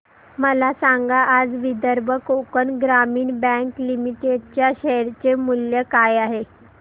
मला सांगा आज विदर्भ कोकण ग्रामीण बँक लिमिटेड च्या शेअर चे मूल्य काय आहे